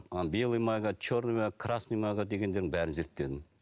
ана белая мага черная красная мага дегендердің бәрін зерттедім